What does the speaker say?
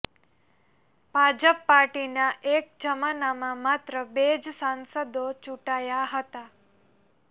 ભાજપ પાર્ટીના એક જમાનામાં માત્ર બે જ સાંસદો ચૂંટાયા હતા